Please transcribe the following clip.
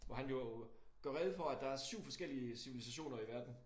Hvor han jo gør rede for at der er 7 forskellige civilisationer i verden